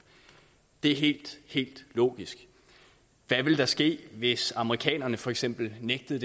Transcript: det er helt helt logisk hvad ville der ske hvis amerikanerne for eksempel nægtede